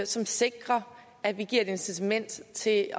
som sikrer at vi giver et incitament til at